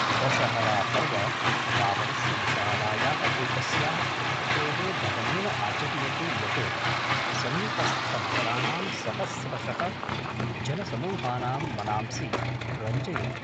दशहरापर्व रावणस्य विशालायाः एकस्याः प्रतिकृतेः दहनेन आचर्यते यत् समीपस्थनगराणां सहस्रशः जनसमूहानां मनांसि रञ्जयति।